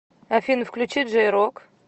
афина включи джей рок